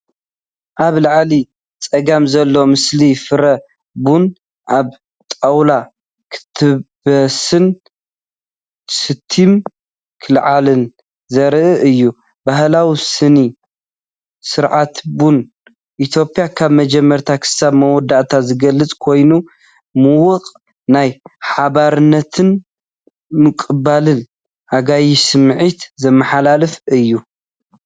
ኣብ ላዕሊ ጸጋም ዘሎ ምስሊ፡ ፍረ ቡን ኣብ ጣውላ ክጥበስን ስቲም ክለዓልን ዘርኢ እዩ። ባህላዊ ስነ-ስርዓት ቡን ኢትዮጵያ ካብ መጀመርታ ክሳብ መወዳእታ ዝገልጽ ኮይኑ፡ ምዉቕ ናይ ሓባርነትን ምቕባል ኣጋይሽን ስምዒት ዘመሓላልፍ እዩ።